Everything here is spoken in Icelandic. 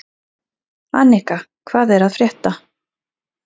Anika, hvað er að frétta?